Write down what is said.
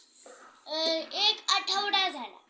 अ एक आठवडा झाला